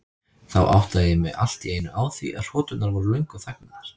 Þá áttaði ég mig allt í einu á því að hroturnar voru löngu þagnaðar.